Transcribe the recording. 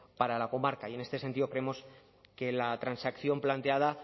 para la comarca y en este sentido creemos que la transacción planteada